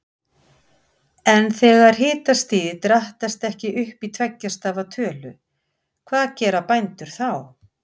En þegar hitastigið drattast ekki upp í tveggja stafa tölu, hvað gera bændur þá?